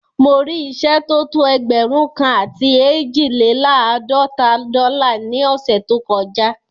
Mo rí ìṣẹ́ tó tó ẹgbẹ̀rún kan àti eejilelaadọta dọ́là ní ọ̀ṣẹ̀ tó kọ já